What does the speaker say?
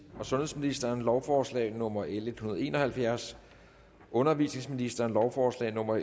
og sundhedsministeren lovforslag nummer l en hundrede og en og halvfjerds undervisningsministeren lovforslag nummer